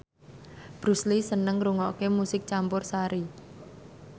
Bruce Lee seneng ngrungokne musik campursari